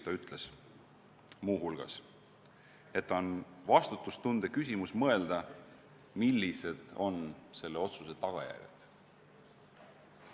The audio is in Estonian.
Ta ütles muu hulgas, et on vastutustunde küsimus mõelda, millised on selle otsuse tagajärjed.